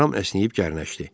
Ram əsnəyib gərnəşdi.